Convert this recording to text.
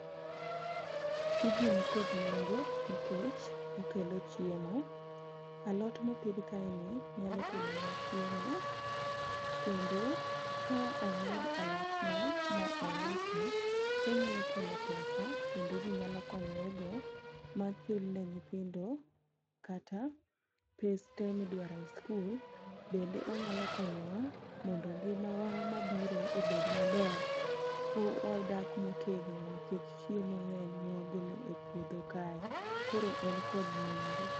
Tijni nikod nengo nikech okelo chiemo, alot mopidh kae ni nyalo kelonwa chiemo. Kendo ka ong'wed alotni ma ouse, tonyalo kelo pesa kendo ji nyalo konyore go machul ne nyithindo kata pes te midwaro e skul. Bende onyalo konyowa mondo ngima wa mabiro obed maber ka wadak motegno nikech chiemo ng'eny mwagolo e puodho kae. Koro en kod nengo.